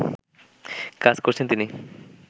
কাজ করেছেন তিনি